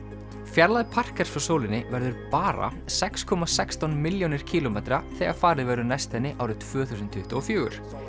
fjarlægð frá sólinni verður bara sex komma sextán milljónir kílómetra þegar farið verður næst henni árið tvö þúsund tuttugu og fjögur